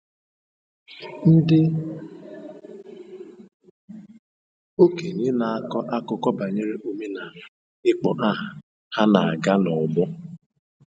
Ndị okenye na-akọ akụkọ banyere omenala ịkpọ aha ha na-aga n’ọgbọ.